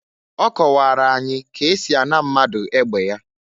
Ọ kọwara anyị ka esi a na mmadu egbe ya.